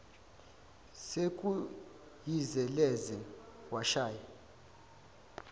sekuyize leze washaya